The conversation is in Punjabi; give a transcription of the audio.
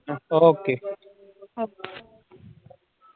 Okay